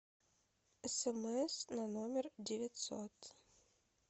смс на номер девятьсот